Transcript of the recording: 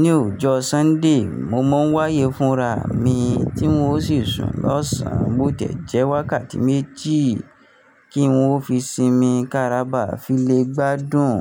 ní òòjọ́ Sunday, mo mọ wáyé fúnra mi tí ún o sì sùn lọ́sàn bó tẹ́jẹ́ wákàtí méjì kí n wó fi sinmi kárábà fi lè gbádùn.